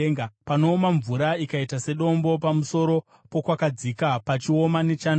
panooma mvura ikaita sedombo, pamusoro pokwakadzika pachioma nechando?